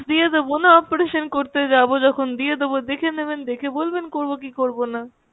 দিয়ে দেবোনা operation করতে যাবো যখন দিয়ে দেবো, দেখে নেবেন দেখে বলবেন করবো কি করবোনা?